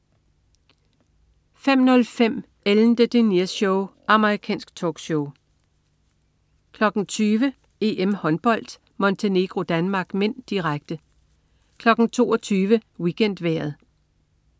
05.05 Ellen DeGeneres Show. Amerikansk talkshow 20.00 EM-Håndbold: Montenegro-Danmark (m), direkte 22.00 WeekendVejret